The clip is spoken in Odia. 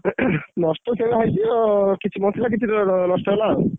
ନଷ୍ଟ ସେଇଆ ହେଇଛି ଆଉ କିଛି ବଞ୍ଚିଲା କିଛି ନଷ୍ଟ ହେଲା ଆଉ।